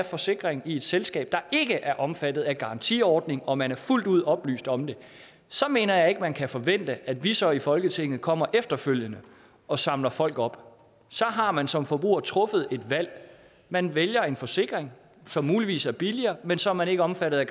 forsikring i et selskab der ikke er omfattet af garantiordning og man er fuldt ud oplyst om det så mener jeg ikke at man kan forvente at vi så i folketinget kommer efterfølgende og samler folk op så har man som forbruger truffet et valg man vælger en forsikring som muligvis er billigere men så er man ikke omfattet af